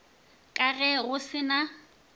ka ge go se na